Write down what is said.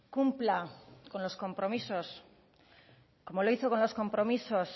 cumpla con los compromisos como lo hizo con los compromisos